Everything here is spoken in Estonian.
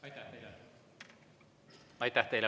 Aitäh teile!